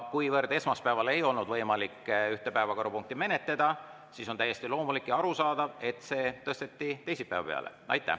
Kuivõrd esmaspäeval ei olnud võimalik ühte päevakorrapunkti menetleda, siis on täiesti loomulik ja arusaadav, et see tõsteti teisipäeva peale.